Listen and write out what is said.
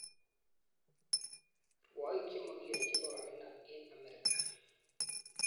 Rwoik chemokiyonji kokokinam eng Amerika